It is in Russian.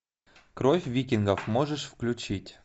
кровь викингов можешь включить